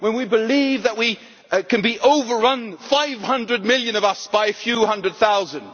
when we believe that we can be overrun 500 million of us by a few hundred thousand.